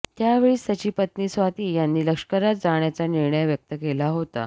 त्यावेळीच त्यांची पत्नी स्वाती यांनी लष्करात जाण्याचा निर्धार व्यक्त केला होता